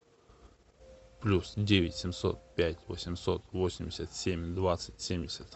плюс девять семьсот пять восемьсот восемьдесят семь двадцать семьдесят